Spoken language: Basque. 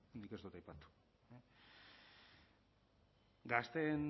nik ez dut aipatu